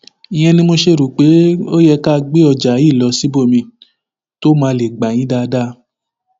ìyẹn ni mo ṣe rò pé ó yẹ ká gbé ọjà yìí lọ síbòmín tó máa lè gbà yín dáadáa